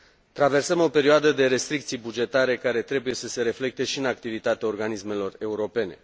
Traversăm o perioadă de restricții bugetare care trebuie să se reflecte și în activitatea organismelor europene.